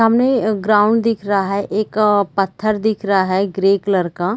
सामने ग्राउंड दिख रहा है एक पत्थर दिख रहा है ग्रे कलर का--